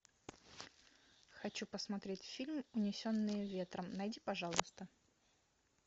хочу посмотреть фильм унесенные ветром найди пожалуйста